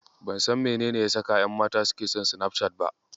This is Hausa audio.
Ban san menene ya saka ƴanmata suke son Sinafcat ba.